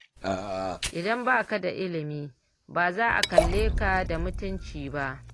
Idan ba ka da ilimi ba za a kalle Ka da mutunci ba